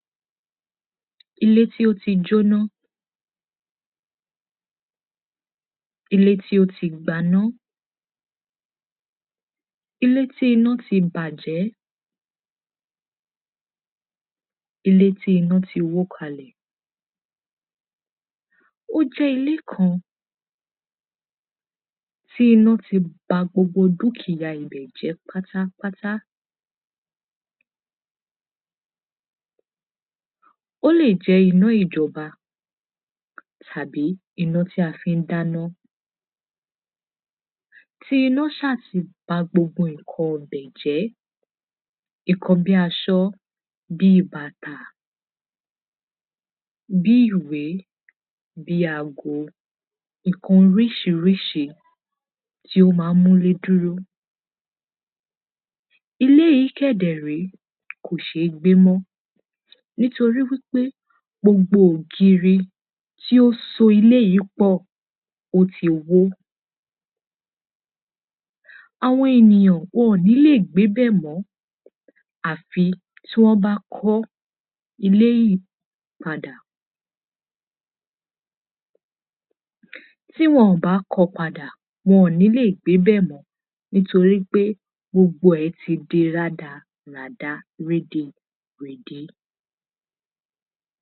Ilé tí ó ti jóná Ilé tí ó ti gbaná Ilé tí iná ti bàjẹ́ Ilé tí iná ti wó kalẹ̀ Ó jẹ́ ilé kan tí iná ti ba gbogbo dúkìyá ibẹ̀ jẹ́ pátápátá Ó lè jẹ́ iná ìjọba tàbí iná tí a fi ń dáná Tí iná ṣá ti ba gbogbo nǹkan ibẹ̀ jẹ́ Nǹkan bii aṣọ bii bàtà bii ìwé bii ago nǹkan orísirísi tí ó má ń múlé dúró Ilé yìí kẹ̀dẹ̀ ré kò sée gbé mọ́ nítorí wípé gbogbo ògiri tí ó so ilé yìí pọ̀ ó ti wó Àwọn ènìyàn wọn ò ní lè gbé bẹ̀ mọ́ àfi tí wọ́n bá kọ́ ilé yìí padà